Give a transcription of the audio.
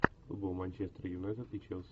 футбол манчестер юнайтед и челси